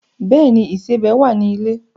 Bẹ́ẹ̀ ni, ìsẹbẹ̀ wà ní ilé.